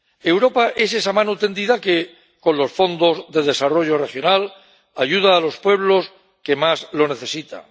Europa es esa mano tendida que, con los fondos de desarrollo regional, ayuda a los pueblos que más lo necesitan.